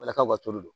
Ala ka tulu dɔn